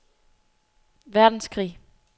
verdenskrig